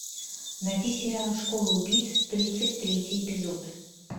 найти сериал школа убийц тридцать третий эпизод